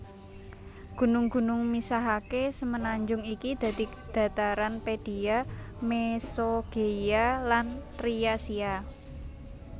Gunung gunung misahaké semenanjung iki dadi dhataran Pedia Mesogeia lan Thriasia